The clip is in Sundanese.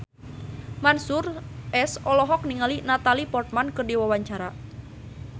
Mansyur S olohok ningali Natalie Portman keur diwawancara